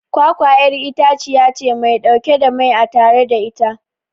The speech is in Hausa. kwakwa'yar itaciyace Mai dauke da mai a tattare da ita